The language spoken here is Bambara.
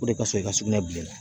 O de ka fisa i ka sugunɛ bila i la